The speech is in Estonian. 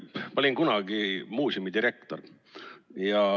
Ma olin kunagi muuseumidirektor.